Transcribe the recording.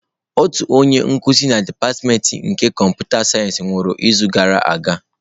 Otu onye nkuzi na dipatịmentị nke kọmputa sayensị nwụrụ n'izu gara aga.